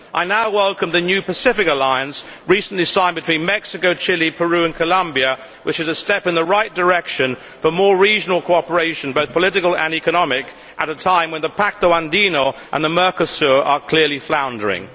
I welcome the new Pacific Alliance recently signed between Mexico, Chile, Peru and Colombia, which is a step in the right direction for more regional cooperation, both political and economic, at a time when the Pacto Andino and Mercosur are clearly floundering.